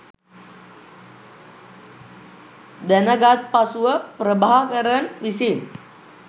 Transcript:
දැනගත් පසුව ප්‍රභාකරන් විසින්